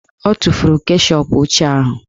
O tufuru keshọp ochie ahụ